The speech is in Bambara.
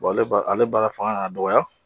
ale ba ale baara fanga kan kaa dɔgɔya.